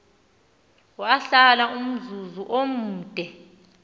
wahlala umzuzu omde